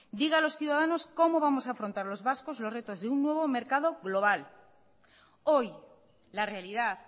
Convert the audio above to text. diga a los ciudadanos cómo vamos a afrontar los vascos los retos de un nuevo mercado global hoy la realidad